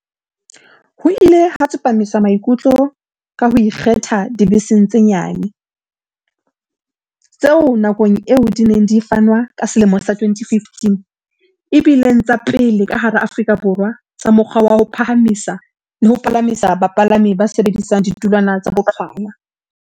Ho ile ha tsepamiswa maikutlo ka ho ikgetha dibeseng tse nyane, tseo, nakong eo di neng di fanwa ka selemo sa 2015, e bileng tsa pele ka hara Aforika Borwa tsa mokgwa wa ho phahamisa le ho palamisa bapalami ba sebedisang ditulwana tsa boqhwala.